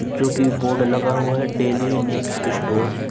जो कि बोर्ड लग हुआ है। Daily needs store --